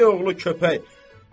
Köppək oğlu köpək.